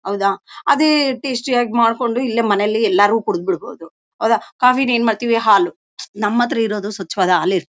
ಹೌದಾ ಅದ್ ಟೇಸ್ಟಿ ಆಗಿ ಮಾಡಕೊಂಡು ಇಲ್ಲೇ ಮನೆಲ್ಲಿ ಎಲ್ಲರೂ ಕುಡದ್ ಬಿಡಬಹುದು. ಹೌದಾ ಕಾಫಿಲಿ ಏನ್ ಮಾಡತ್ತಿವಿ ಹಾಲು ನಮ್ಮತ್ರ ಇರೋದು ಸ್ವಚ್ಛವಾದ ಹಾಲ ಇರ--